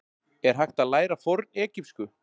Er hægt að læra fornegypsku?